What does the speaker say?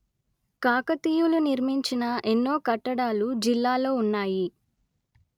కాకతీయులు నిర్మించిన ఎన్నో కట్టడాలు జిల్లాలో ఉన్నాయి